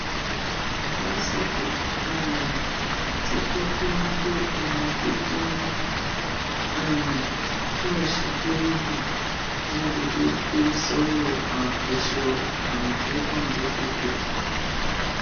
lásìkò um tí tọpẹ ń kó ẹrùn tó jì ní um ṣọọṣì kérúbù jáde ló kó sọwọ èso àmọtẹkùn lọsgbọ